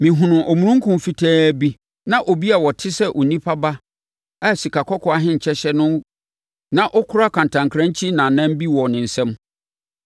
Mehunuu omununkum fitaa bi na obi a ɔte sɛ Onipa Ba a sikakɔkɔɔ ahenkyɛ hyɛ no na ɔkura kantankrankyi nnamnnam bi wɔ ne nsam.